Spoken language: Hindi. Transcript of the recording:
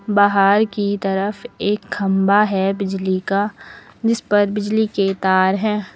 बाहर की तरफ एक खंभा है बिजली का जिसपर बिजली के तार हैं।